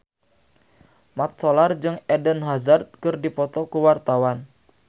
Mat Solar jeung Eden Hazard keur dipoto ku wartawan